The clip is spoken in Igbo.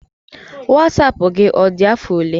Wasapụ gị, ọ dị afọ ole?